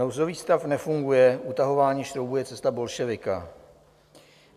Nouzový stav nefunguje, utahování šroubů je cesta bolševika.